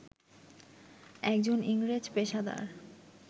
একজন ইংরেজ পেশাদার